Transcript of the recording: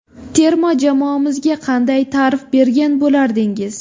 Terma jamoamizga qanday ta’rif bergan bo‘lardingiz?